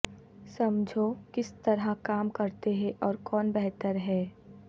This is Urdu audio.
سمجھو کس طرح کام کرتے ہیں اور کون بہتر ہیں